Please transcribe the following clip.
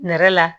Nɛrɛ la